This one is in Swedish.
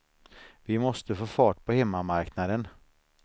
Vi måste få fart på hemmamarknaden.